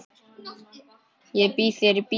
Ég býð þér í bíó.